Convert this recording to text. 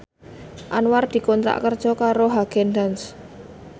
Anwar dikontrak kerja karo Haagen Daazs